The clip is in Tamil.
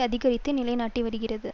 அதிகரித்து நிலைநாட்டி வருகிறது